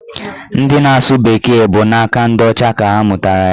Ndị na-asụ bekee bụ n'aka ndị ọcha ka ha mụtara ya